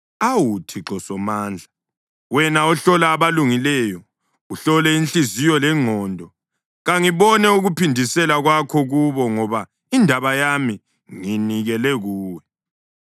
Awu Thixo Somandla, wena ohlola abalungileyo, uhlole inhliziyo lengqondo, kangibone ukuphindisela kwakho kubo, ngoba indaba yami ngiyinikele kuwe.